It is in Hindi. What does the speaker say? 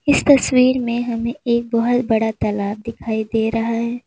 इस तस्वीर में हमें एक बहोत बड़ा तालाब दिखाई दे रहा है।